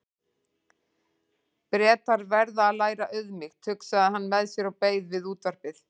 Bretar verða að læra auðmýkt, hugsaði hann með sér og beið við útvarpið.